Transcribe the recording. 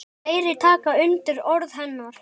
Fleiri taka undir orð hennar.